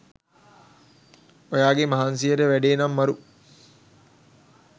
ඔයාගේ මහන්සියට වැඩේ නම් මරු